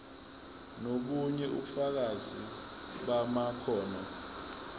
nobunye ubufakazi bamakhono